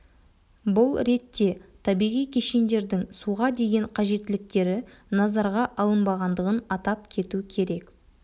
бұл ретте табиғи кешендердің суға деген қажеттіліктері назарға алынбағандығын атап кету керек